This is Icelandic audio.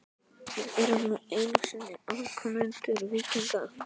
Við erum nú einu sinni afkomendur víkinga.